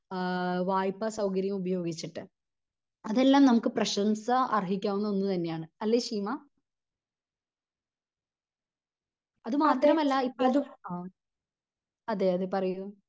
ആഹ് വായ്‌പ്പാ സൗകര്യം ഉപയോഗിച്ചിട്ട് അതെല്ലാം നമുക്ക് പ്രശംസ അർഹിക്കാവുന്ന ഒന്ന് തന്നെ ആണ് അല്ലെ ശീമ. അത് മാത്രമല്ല ഇപ്പൊ അതെയതെ പറയു